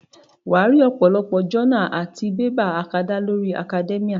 Wàá rí ọ̀pọ̀lọpọ̀ jọ́nà àti bébà akadá lórí Academia